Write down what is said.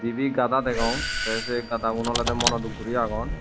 dibi gada degong te se gadaun olode monoduk guri agon.